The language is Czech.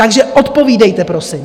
Takže odpovídejte, prosím.